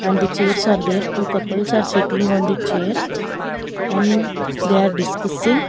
And the chairs are there two couples are sitting on the chair and they are discussing.